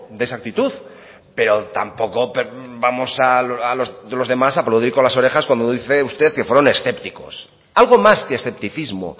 de esa actitud pero tampoco vamos los demás a aplaudir con las orejas cuando dice usted que fueron escépticos algo más que escepticismo